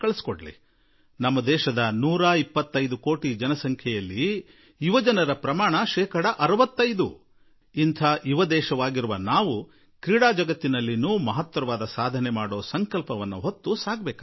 ನಾವು ಸಂಪೂರ್ಣ ತಯಾರಿ ನಡೆಸೋಣ ಹಾಗೂ ನಾವು 125 ಕೋಟಿ ದೇಶವಾಸಿಗಳು ಅದರಲ್ಲಿ ಶೇಕಡಾ 65ರಷ್ಟು ಯುವ ಜನಸಂಖ್ಯೆಯ ದೇಶ ಕ್ರೀಡಾ ಜಗತ್ತಿನಲ್ಲಿ ಉತ್ಕೃಷ್ಟ ಸ್ಥಿತಿ ಪಡೆಯಲಿ ಎಂಬ ಸಂಕಲ್ಪದೊಡನೆ ಮುನ್ನಡೆಯಬೇಕಾಗಿದೆ